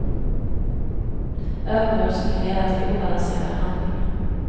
Övermod som kan leda till obalanserade handlingar.